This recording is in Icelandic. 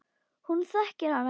Hún þekkir hann ekki.